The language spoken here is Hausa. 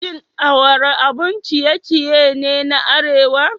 Shin awara abun ciye-ciye ne na arewa?